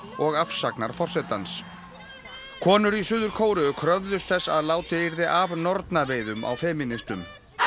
og afsagnar forsetans konur í Suður Kóreu kröfðust þess að látið yrði af nornaveiðum á femínistum